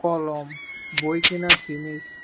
কলম বই কিনার জিনিস।